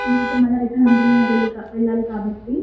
ఎందుకంటే మల్లా రిటర్న్ అందులో వెళ్లాలి కాబట్టి--